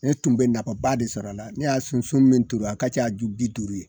Ne tun bɛ nafaba de sɔr'a la, ne ya sunsun min turu a ka ca ju bi duuru ye.